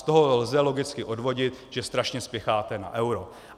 Z toho lze logicky odvodit, že strašně spěcháte na euro.